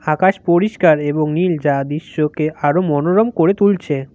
আকাশ পরিষ্কার এবং নীল যা দিশ্যকে আরো মনোরম করে তুলছে।